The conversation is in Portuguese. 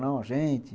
Não, gente.